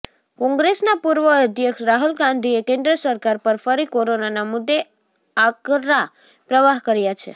કોંગ્રેસના પૂર્વ અધ્યક્ષ રાહુલ ગાંધીએ કેન્દ્ર સરકાર પર ફરી કોરોનાના મુદ્દે આકરા પ્રહાર કર્યાં છે